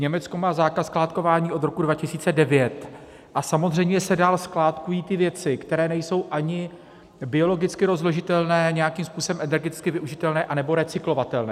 Německo má zákaz skládkování od roku 2009 a samozřejmě se dále skládkují ty věci, které nejsou ani biologicky rozložitelné, nějakým způsobem energeticky využitelné anebo recyklovatelné.